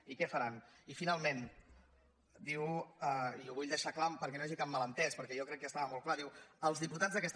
i què faran i finalment diu i ho vull deixar clar perquè no hi hagi cap malentès perquè jo crec que estava molt clar diu els diputats d’aquesta